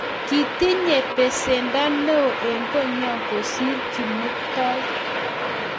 Kitnye pesendo neo eng' konyo kosir ole kimuktoi